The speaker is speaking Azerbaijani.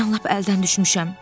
Mən lap əldən düşmüşəm.